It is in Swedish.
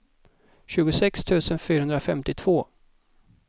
tjugosex tusen fyrahundrafemtiotvå